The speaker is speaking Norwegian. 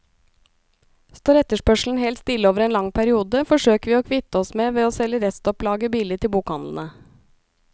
Står etterspørselen helt stille over en lang periode, forsøker vi å kvitte oss med ved å selge restopplaget billig til bokhandlene.